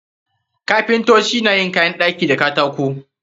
Kapintoci na yin kayan ɗaki da katako.